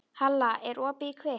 Halla, er opið í Kvikk?